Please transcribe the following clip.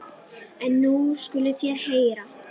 En nú skuluð þér heyra.